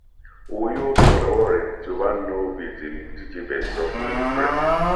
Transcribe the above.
owó yóò tán lọwọ rẹ tí o bá ń náwó bíi tèmi dj birds sọ fún libre